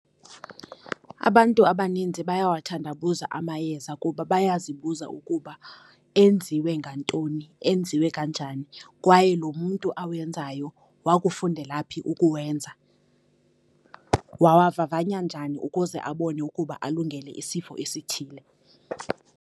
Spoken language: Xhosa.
Abantu abaninzi bayawathandabuza amayeza kuba bayazibuza ukuba enziwe ngantoni, enziwe kanjani, kwaye lo mntu awenzayo wakufundela phi ukuwenza, wawavavanya njani ukuze abone ukuba alungele isifo esithile.